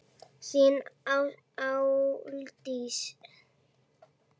Þín, Aldís.